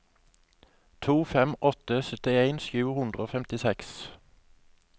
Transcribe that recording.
to fem åtte fem syttien sju hundre og femtiseks